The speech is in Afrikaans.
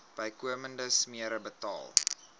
bykomende smere betaal